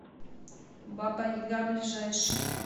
баба яга ближайший